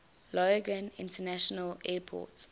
logan international airport